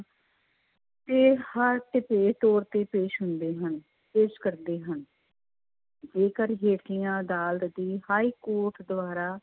ਦੇ ਤੌਰ ਤੇ ਪੇਸ਼ ਹੁੰਦੇ ਹਨ, ਪੇਸ਼ ਕਰਦੇ ਹਨ ਜੇਕਰ ਹੇਠਲੀਆਂ ਅਦਾਲਤ ਦੀ ਹਾਈਕੋਰਟ ਦੁਆਰਾ,